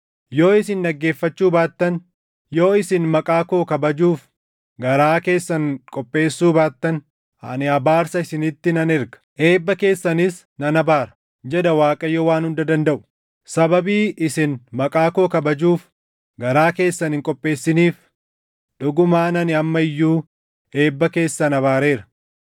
Yoo isin dhaggeeffachuu baattan, yoo isin maqaa koo kabajuuf garaa keessan qopheessuu baattan, ani abaarsa isinitti nan erga; eebba keessanis nan abaara” jedha Waaqayyo Waan Hunda Dandaʼu. “Sababii isin maqaa koo kabajuuf garaa keessan hin qopheessiniif dhugumaan ani amma iyyuu eebba keessan abaareera.